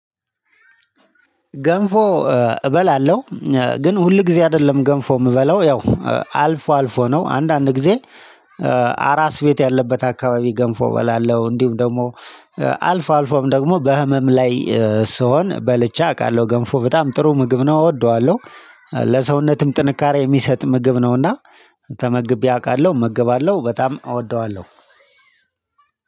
ገንፎ እበላለሁ ግን ሁል ጊዜ አይደለም ገንፎ የምበለው ያው አልፎ አልፎ ነው አንዳንድ ጊዜ። አራስ ቤት ያለበት አካባቢ ገንፎ እበላለሁ እንዲሁም ደግሞ አልፎ አልፎም ደግሞ በህመም ላይ ስሆን በልቼ አውቃለሁ ገንፎ በጣም ጥሩ ምግብ ነው እወደዋለሁ። ለሰውነትም ጥንካሬ የሚሰጥ ምግብ ነውና ተመግቤ አውቃለሁ እመገባለሁ በጣም እወደዋለሁ።